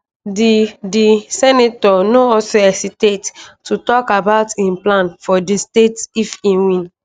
di di senator no also hesitate to tok about im plans for di state if e win